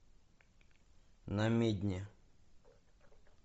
намедни